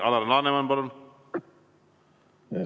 Alar Laneman, palun!